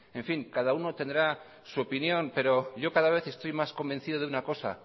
en fin cada uno tendrá su opinión pero yo cada vez estoy más convencido de una cosa